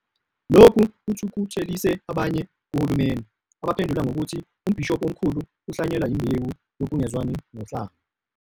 Lokhu kuthukuthelise abanye kuhulumeni abaphendula ngokuthi uMbhishobhi Omkhulu uhlwanyela imbewu yokungezwani kohlanga.